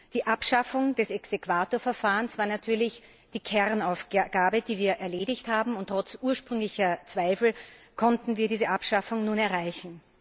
Die Abschaffung des Exequaturverfahrens war natürlich die Kernaufgabe, die wir erledigt haben, und trotz ursprünglicher Zweifel konnten wir diese Abschaffung nun erreichen.